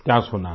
क्या सुना है